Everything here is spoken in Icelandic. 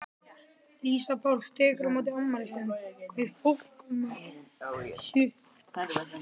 Lísa Páls tekur á móti afmæliskveðjum.